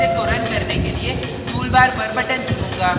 मैं अपने project को button करने के लिए toolbar पर button चुनूँगा